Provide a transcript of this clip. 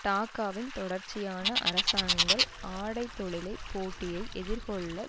டாக்காவின் தொடர்ச்சியான அரசாங்கங்கள் ஆடை தொழிலை போட்டியை எதிர்கொள்ள